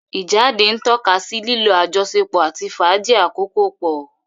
Ijáde ntọkasí lilo àjọsọpọ ati fàájì akoko pọ.